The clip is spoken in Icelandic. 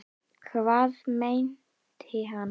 Hvað meinti hann?